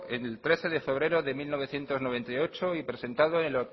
el trece de febrero de mil novecientos noventa y ocho y presentado en